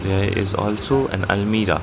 there is also an almirah